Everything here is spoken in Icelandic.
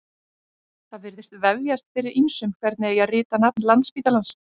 Það virðist vefjast fyrir ýmsum hvernig eigi að rita nafn Landspítalans.